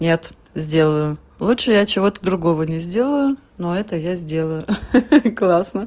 нет сделаю лучше я чего-то другого не сделаю но это я сделаю ха-ха классно